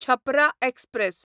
Chhapra express